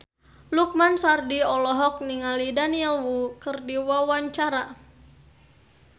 Lukman Sardi olohok ningali Daniel Wu keur diwawancara